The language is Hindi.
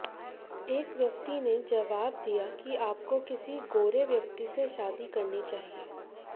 एक व्यक्ति ने जवाब दिया कि आपको किसी गोरे व्यक्ति से शादी करनी चाहिए